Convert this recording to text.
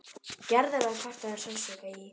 Gerður hafði kvartað um sársauka í.